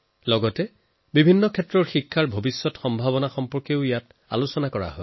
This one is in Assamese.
লগতে এডুকেশ্যন প্ৰস্পেক্টৰ ওপৰত আলোচনা কৰে